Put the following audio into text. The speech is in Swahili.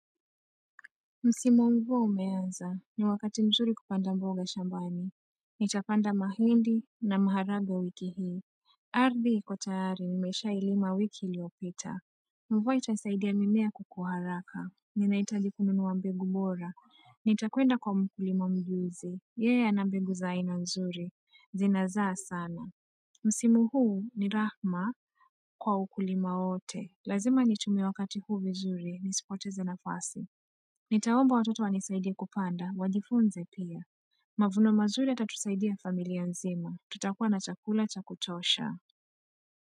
Msimu wa mvua umeanza ni wakati mzuri kupanda mboga shambani Nitapanda mahindi na maharagwe wiki hii ardhi ikotayari nimesha ilima wiki iliyopita Mvua itasaidia mimea kukua haraka Ninaitaji ku nunuwa mbegu bora Nitakwenda kwa mkulima mjuzi Yeye ana mbegu zaina nzuri zinazaa sana Msimu huu ni Rahma kwa ukulima wote Lazima nitumie wakati huu vizuri nisipoteze nafasi Nitaomba watoto wani saidie kupanda wajifunze pia. Mavuno mazuri yatatusaidia familia nzima. Tutakua na chakula cha kutosha.